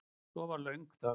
Svo var löng þögn.